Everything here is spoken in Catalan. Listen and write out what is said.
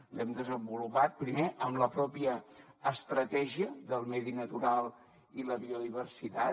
l’hem desenvolupat primer amb la pròpia estratègia del medi natural i la biodiversitat